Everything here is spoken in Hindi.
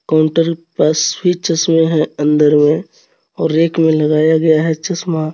कोंटर मे हे अंदर मे और एक मे लगाया गया हे चश्मा.